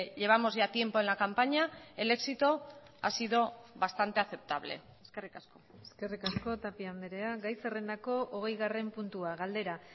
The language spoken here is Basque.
llevamos ya tiempo en la campaña el éxito ha sido bastante aceptable eskerrik asko eskerrik asko tapia andrea gai zerrendako hogeigarren puntua galdera